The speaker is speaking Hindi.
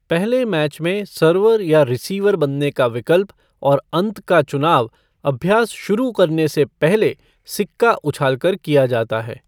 पहले मैच में सर्वर या रिसीवर बनने का विकल्प और अंत का चुनाव अभ्यास शुरू करने से पहले सिक्का उछाल कर किया जाता है।